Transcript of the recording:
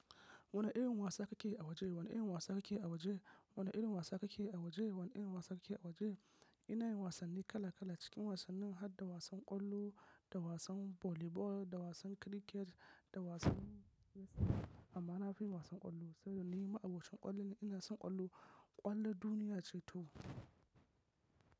Wani irin wasa kake a waje? Wani irin wasa kake a waje? Wani irin wasa kake a waje? Wani irin wasa kake a waje? Ina yin wasanni kala kala. Cikin wasannin, hadda wasan ƙwallo da wasan volleyball, da wasan cricket, da wasan wrestling. Amma na fi yi wasan ƙwallo, saboda ni ma'abocin ƙwallo ne. Ina son ƙwallo. Ƙwallo duniya ce toh.